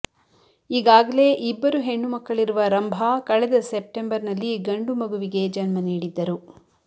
ಈಗಾಗಲೇ ಇಬ್ಬರು ಹೆಣ್ಣು ಮಕ್ಕಳಿರುವ ರಂಭಾ ಕಳೆದ ಸೆಪ್ಟೆಂಬರ್ ನಲ್ಲಿ ಗಂಡು ಮಗುವಿಗೆ ಜನ್ಮನೀಡಿದ್ದರು